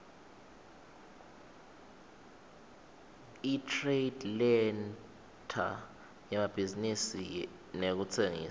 itradelentre yemabhizinisi nekutsengisa